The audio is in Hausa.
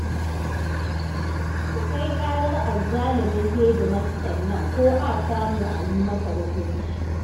Ku kai ƙarar azzalumin hedimastan nan ko a samu a yi masa hukunci